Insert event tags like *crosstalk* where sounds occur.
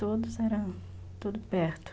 *unintelligible* tudo perto.